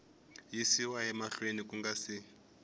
yisiwa mahlweni ku nga si